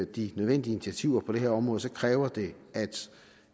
de nødvendige initiativer på det her område kræver det at